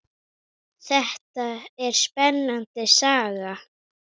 Þetta er spennandi saga.